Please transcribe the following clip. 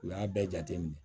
U y'a bɛɛ jateminɛ